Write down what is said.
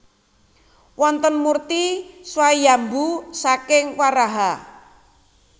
Wonten murti Swayambhu saking Waraha